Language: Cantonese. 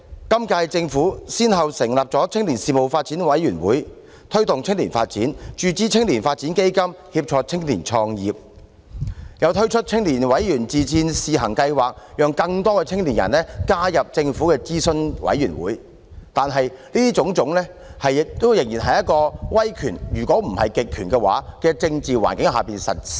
今屆政府先後成立青年發展委員會，以推動青年發展；注資青年發展基金，以協助青年創業，又推出青年委員自薦試行計劃，讓更多青年人加入政府的諮詢委員會，但凡此種種仍然是在一個威權——如果不是極權——的政治環境下實施。